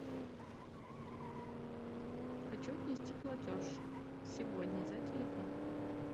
хочу внести платеж сегодня за телефон